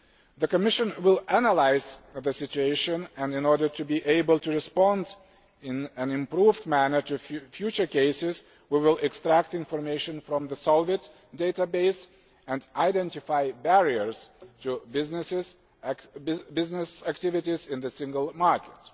The Commission will analyse the situation and, in order to be able to respond in an improved manner to future cases, we will extract information from the SOLVIT database and identify barriers to business activities in the single market.